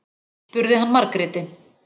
spurði hann Margréti.